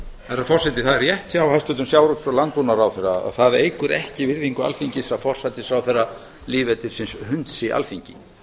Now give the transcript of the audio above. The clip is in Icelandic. herra forseti það er rétt hjá hæstvirtum sjávarútvegs og landbúnaðarráðherra að það eykur ekki virðingu alþingis að forsætisráðherra lýðveldisins hunsi alþingi